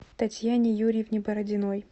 татьяне юрьевне бородиной